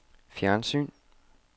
fjernsyn